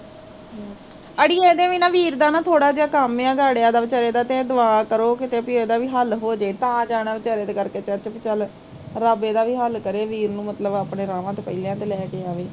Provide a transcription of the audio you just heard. ਅੜੀਏ ਇਹਦੇ ਵੀ ਨਾ ਵੀਰ ਦਾ ਥੋੜਾ ਜਿਹਾ ਕੰਮ ਆ, ਗਾੜਿਆ ਦਾ, ਵਿਚਾਰੇ ਦਾ ਤੇ ਦੁਆ ਕਰੋ ਕਿ ਕਿਤੇ ਵੀ ਇਹਦਾ ਵੀ ਹੱਲ ਹੋਜੇ ਤਾਂ ਜਾਣਾ ਵਿਚਾਰੇ ਤੇ ਕਰਕੇ ਚਰਚ ਵੀ ਚੱਲ, ਰੱਬ ਇਹਦਾ ਵੀ ਹੱਲ ਕਰੇ, ਵੀਰ ਨੂੰ ਮਤਲਬ ਆਪਣੇ ਰਾਹਾਂ ਤੇ ਪਹਿਲਿਆਂ ਤੇ ਲੈ ਕੇ ਆਵੇ